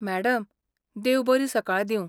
Madam, देव बरी सकाळ दिवं.